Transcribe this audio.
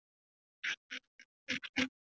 Abel, ferð þú með okkur á laugardaginn?